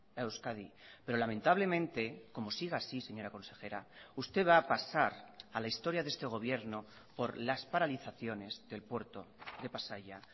a euskadi pero lamentablemente como siga así señora consejera usted va a pasar a la historia de este gobierno por las paralizaciones del puerto de pasaia